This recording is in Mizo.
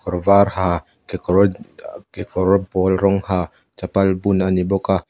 kawr var ha kekawr kekawr pawl rawng ha chapal bun a ni bawk a.